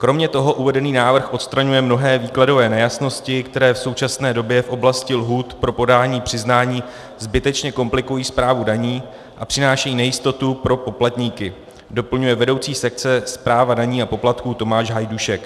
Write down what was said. "Kromě toho uvedený návrh odstraňuje mnohé výkladové nejasnosti, které v současné době v oblasti lhůt pro podání přiznání zbytečně komplikují správu daní a přinášejí nejistotu pro poplatníky," doplňuje vedoucí sekce Správa daní a poplatků Tomáš Hajdušek.